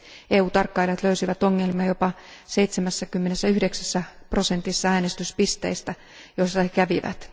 EU tarkkailijat löysivät ongelmia jopa 79 prosentissa äänestyspisteistä, joissa he kävivät.